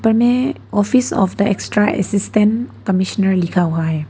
May office of the extra assistant commissioner लिखा हुआ है।